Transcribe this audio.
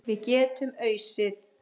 Við getum ausið.